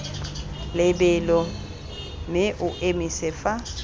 lebelo mme o emise fa